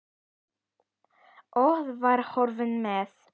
Og var horfinn með.